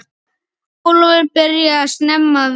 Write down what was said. Ólafur byrjaði snemma að vinna.